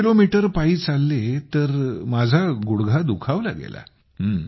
12 kilometre पायी चालले तर माझा गुडघा दुखावला गेला